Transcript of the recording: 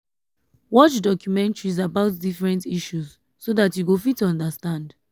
watch documentaries about different issues so dat you go fit understand